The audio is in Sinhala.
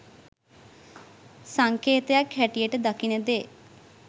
සංකේතයක් හැටියට දකින දේ